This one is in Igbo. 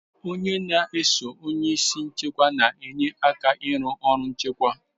Onye n'eso onye isi nchịkwa na enye aka ịrụ ọrụ nchịkwa